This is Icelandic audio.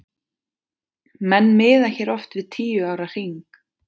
Menn miða hér oft við tíu ára hring.